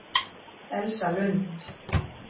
Elsa Lund